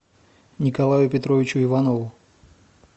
николаю петровичу иванову